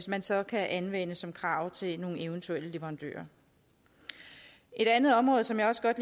man så kan anvende som krav til nogle eventuelle leverandører et andet område som jeg også godt